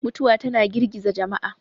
mutuwa tana girgiza jama'a